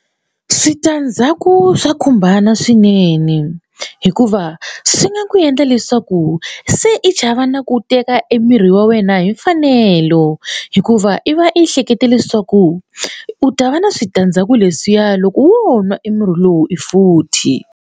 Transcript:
Switandzhaku swa khumbana swinene hikuva swi nga ku endla leswaku se i chava na ku teka e mirhi wa wena hi mfanelo hikuva i va i hleketa leswaku u ta va na switandzhaku leswiya loko wo nwa emurhi lowu futhi.